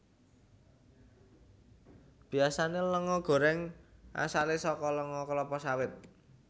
Biasane lenga gorèng asale saka lenga kelapa sawit